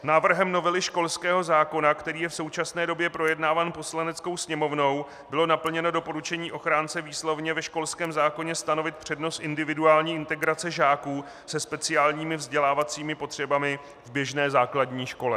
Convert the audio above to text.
Návrhem novely školského zákona, který je v současné době projednáván Poslaneckou sněmovnou, bylo naplněno doporučení ochránce výslovně ve školském zákoně stanovit přednost individuální integrace žáků se speciálními vzdělávacími potřebami v běžné základní škole.